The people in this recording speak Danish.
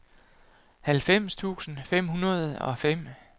halvfems tusind fem hundrede og fem